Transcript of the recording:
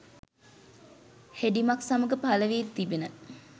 හෙඩිමක් සමග පළ වී තිබිණ